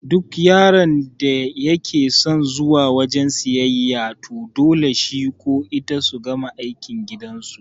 Duk yaron da yake son zuwa wajan siyayya to dole shi ko ita su gama aikin gidan su